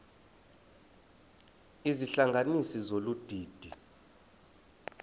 izihlanganisi zolu didi